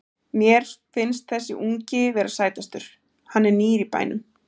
Mér finnst þessi ungi vera sætastur, hann er nýr í bænum.